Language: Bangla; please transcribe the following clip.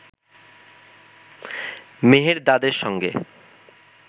মেহেরদাদের সঙ্গে